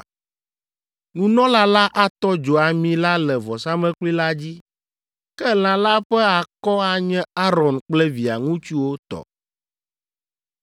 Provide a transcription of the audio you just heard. Nunɔla la atɔ dzo ami la le vɔsamlekpui la dzi, ke lã la ƒe akɔ anye Aron kple via ŋutsuwo tɔ.